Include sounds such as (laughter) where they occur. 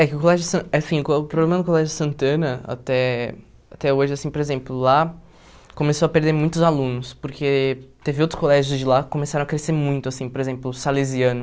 É que o Colégio San (unintelligible) o problema do Colégio Santana, até até hoje assim, por exemplo, lá começou a perder muitos alunos, porque teve outros colégios de lá que começaram a crescer muito assim, por exemplo, o Salesiano.